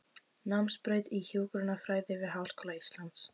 Námsbraut í hjúkrunarfræði við Háskóla Íslands.